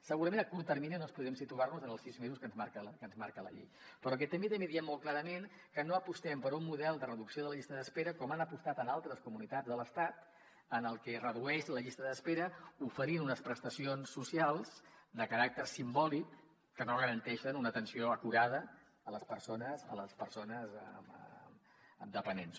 segurament a curt termini no ens podrem situar en els sis mesos que ens marca la llei però també diem molt clarament que no apostem per un model de reducció de la llista d’espera com han apostat en altres comunitats de l’estat en què es redueix la llista d’espera oferint unes prestacions socials de caràcter simbòlic que no garanteixen una atenció acurada a les persones dependents